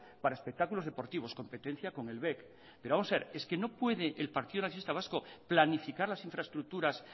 para espectáculos deportivos competencia con el bec pero vamos a ver es que no puede el partido nacionalista vasco planificar las infraestructuras